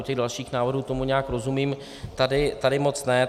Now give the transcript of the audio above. U těch dalších návrhů tomu nějak rozumím, tady moc ne.